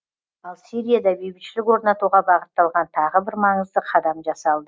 ал сирияда бейбітшілік орнатуға бағытталған тағы бір маңызды қадам жасалды